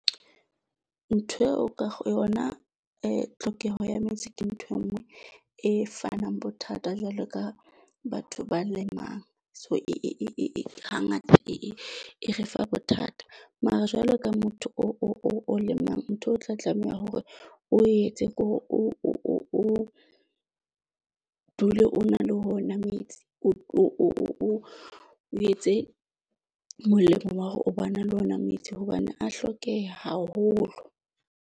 Ntho eo ka ho yona tlhokeho ya metsi ke ntho e nngwe e fanang bothata jwalo ka batho ba lemang. So, e ha ngata e e re fa bothata. Mara jwale ka motho o, o lemang ntho o tla tlameha hore o etse ke hore o dule o na le ona metsi, o etse molemo wa hore o bona le ona metsi hobane a hlokehe haholo.